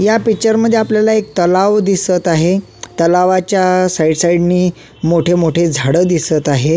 या पिक्चर मध्ये आपल्याला एक तलाव दिसत आहे तलावाच्या साईड साईड नी मोठे मोठे झाडं दिसत आहेत.